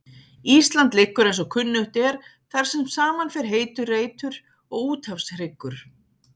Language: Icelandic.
Ísland liggur eins og kunnugt er þar sem saman fer heitur reitur og úthafshryggur.